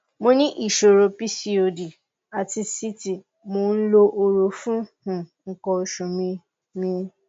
mo ní ìṣòro pcod àti síìtì mò ń lo hóró fún um nǹkan oṣù mi mi